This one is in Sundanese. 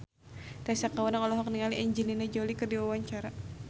Tessa Kaunang olohok ningali Angelina Jolie keur diwawancara